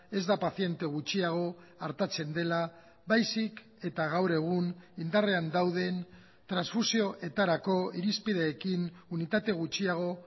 ez da paziente gutxiago artatzen dela baizik eta gaur egun indarrean dauden transfusioetarako irizpideekin unitate gutxiago